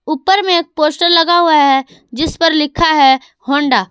ऊपर में एक पोस्टर लगा हुआ है जिस पर लिखा है होंडा --